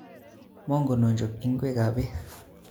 Monken ochop ikwek kap beek